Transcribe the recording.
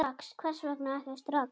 Hvers vegna ekki strax?